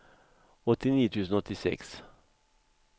åttionio tusen åttiosex